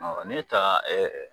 ne taa